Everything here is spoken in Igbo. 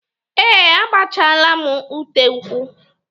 Ee, agbachaala m ute ụkwụ.